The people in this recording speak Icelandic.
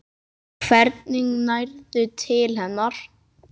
Hvernig nærðu til hennar?